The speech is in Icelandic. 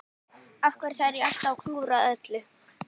Af hverju þarf ég alltaf að klúðra öllu?